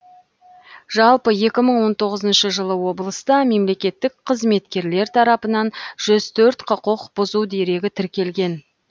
жалпы екі мың он тоғызыншы жылы облыста мемлекеттік қызметкерлер тарапынан жүз төрт құқық бұзу дерегі тіркелген